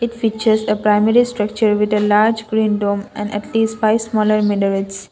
it features a primary structure with a large green dom and atleast five smaller minarets.